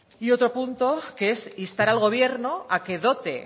y otro punto que es instar al gobierno a que dote